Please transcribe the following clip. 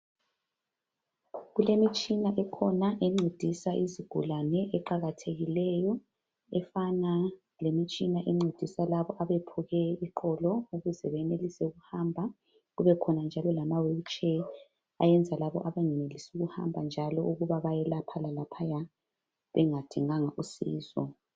Kulemitshina ekhona encedisa izigulane eqakathekileyo efana lemitshina encedisa labo abephuke iqolo ukuze benelise ukuhamba kube khona njalo lamawheelchair ayenza labo abangenelisi ukuhamba njalo ukuba bayelaphalalaphaya bengadinganga usizo.